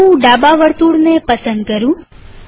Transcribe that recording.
ચાલો હું ડાબા વર્તુળને પસંદ કરું